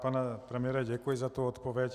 Pane premiére, děkuji za tu odpověď.